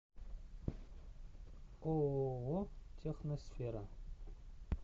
ооо техносфера